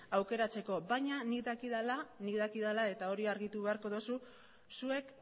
aukeratzeko baina nik dakidala nik dakidala eta hori argitu beharko dozu zuek